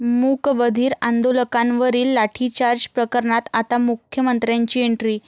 मूकबधीर आंदोलकांवरील लाठीचार्ज प्रकरणात आता मुख्यमंत्र्यांची एंट्री